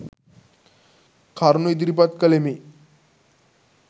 කරුණු ඉදිරිපත් කළෙමි.